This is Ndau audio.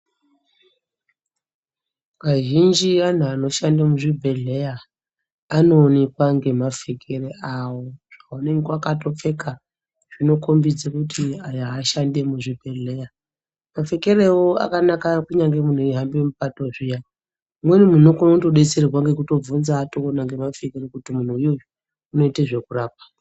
Kazhinji antu anoshanda muzvibhedhleya anooneka ngemapfekere awo vakandopfeka zvinokombidze kuti aya ashandi emuzvibhedhlera mapfekerewo akanaka kunyange Munhu eihambe kupato zviya umweni munhu unokone kutodetserwa atoona ngemapfekero kuti munhu yuyu unoite zvekurapa.